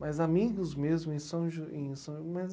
Mas amigos mesmo, em São Jo, em são, mas